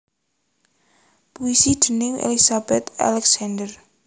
Puisi déning Elizabeth Alexander